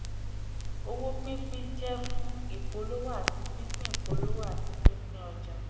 owó pínpín jẹ́ fún ìpolówó àti pínpín ìpolówó àti pínpín ọjà.